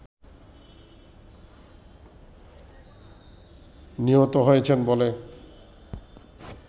নিহত হয়েছেন বলে